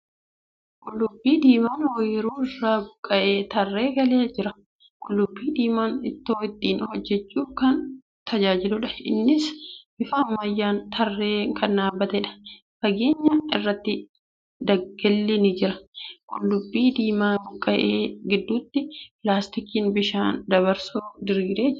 Qullubbii diimaa ooyiruu irraa buqqa'ee tarree galee jiru. Qullubbii diimaan ittoo ittiin bojjachuuf kan tajaajiluudha. Innis bifa ammayyaan tarreen kan dhaabbateedha. Fageenya irratti daggalli ni jira. Qullubbii diimaa buqqa'e gidduutti pilaastikiin bishaan dabarsu diriiree jira.